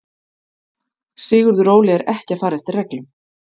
Sigurður Óli er ekki að fara eftir reglum.